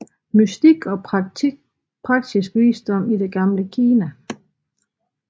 Mystik og praktisk visdom i det gamle Kina